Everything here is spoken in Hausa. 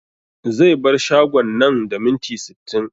Zai bar shagon nan da minti sittin